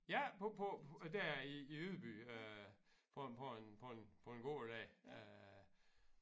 Ja på på der i i Ydby øh på en på en på en på en gård der øh